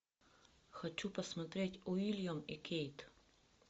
хочу посмотреть уильям и кейт